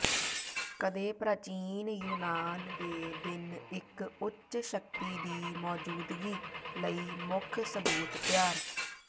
ਕਦੇ ਪ੍ਰਾਚੀਨ ਯੂਨਾਨ ਦੇ ਦਿਨ ਇੱਕ ਉੱਚ ਸ਼ਕਤੀ ਦੀ ਮੌਜੂਦਗੀ ਲਈ ਮੁੱਖ ਸਬੂਤ ਤਿਆਰ